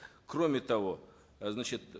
кроме того э значит